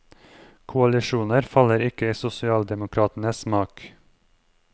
Koalisjoner faller ikke i sosialdemokratenes smak.